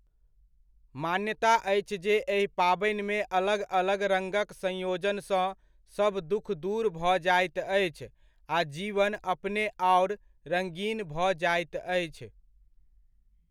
मान्यता अछि जे एहि पाबनिमे अलग अलग रङ्गक संयोजनसँ सभ दुःख दूर भऽ जाइत अछि आ जीवन अपने आओर रङ्गीन भऽ जाइत अछि।